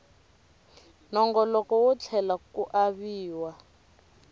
nongoloko wo tlhela ku aviwa